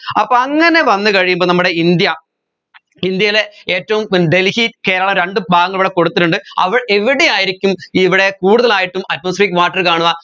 അപ്പോ അങ്ങനെ വന്ന് കഴിയുമ്പോൾ നമ്മടെ ഇന്ത്യ ഇന്ത്യയിലെ ഏറ്റവും ഡൽഹി കേരള രണ്ട് ഭാഗങ്ങൾ ഇവിടെ കൊടുത്തിട്ടുണ്ട് അവ എവിടെയായിരിക്കും ഇവിടെ കൂടുതലായിട്ടും atmospheric water കാണുക